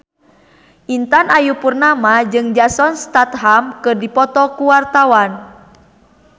Intan Ayu Purnama jeung Jason Statham keur dipoto ku wartawan